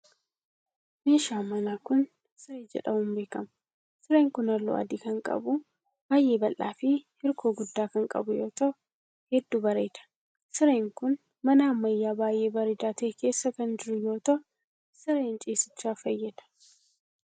Meeshaan manaa kun, siree jedhamuun beekama. Sireen kun haalluu adii kan qabuu, baay'ee bal'aa fi hirkoo guddaa kan qabu yoo ta'u, hedduu bareeda. Sireen kun, mana ammayyaa baay'ee bareedaa ta'e keessa kan jiru yoo ta'u, sireen ciisichaaf fayyada.